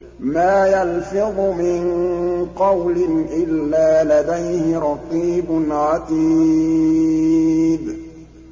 مَّا يَلْفِظُ مِن قَوْلٍ إِلَّا لَدَيْهِ رَقِيبٌ عَتِيدٌ